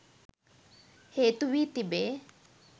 හේතු වී තිබේ